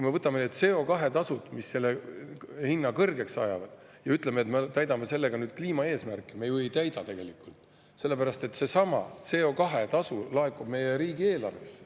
Me võtame need CO2-tasud, mis selle hinna kõrgeks ajavad, ja ütleme, et me täidame sellega kliimaeesmärki – me ju ei täida tegelikult, sellepärast et seesama CO2-tasu laekub meie riigieelarvesse.